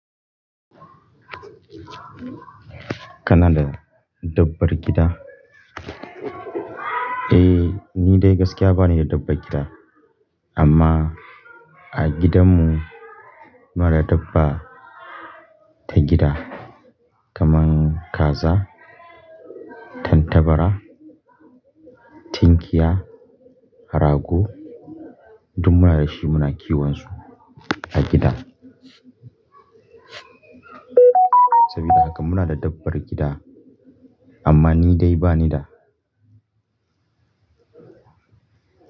Kana da dabbar gida? Eh, ni dai gaskiya ba ni da dabbar gida. Amma a gidan mu mara dabba ta gida, kaman kaza, tantabara, tinkiya, rago duk muna da shi muna kiwon su a gida. Saboda haka muna da dabbar gida amma ni dai ba ni da.